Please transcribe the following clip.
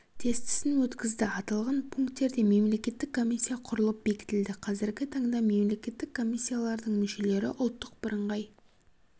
тестісін өткізді аталған пункттерде мемлекеттік комиссия құрылып бекітілді қазіргі таңда мемлекеттік комиссиялардың мүшелері ұлттық бірыңғай